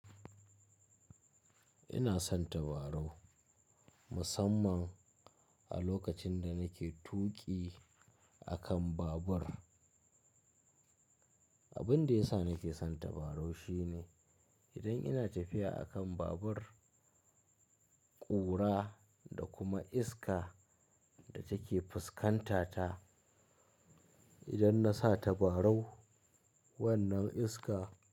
Ina son tabarau musamman a lokacin da nake tuƙi a kan babur. Abin da yasa nake son tabarau shine idan ina tafiya a kan babur, ƙura da kuma iska da take fuskanta ta, idan na sa tabarau wannan iska.